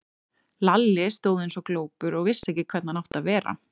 Lalli stóð eins og glópur og vissi ekki hvernig hann átti að vera.